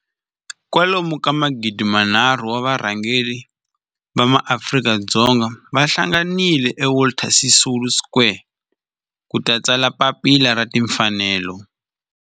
Kwalomu ka magidi nharhu, 3 000, wa varhangeri va maAfrika-Dzonga va hlanganile eka Walter Sisulu Square ku ta tsala Papila ra Tinfanelo.